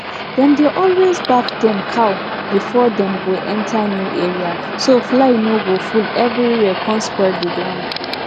di way we take plant di sesame na to scatter the sesame and come cover am come cover am small small.